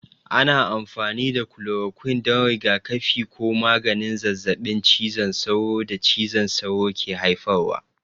Ana amfani da kulorokwin don rigakafi ko maganin zazzabin cizon sauro da cizon sauro ke haifarwa.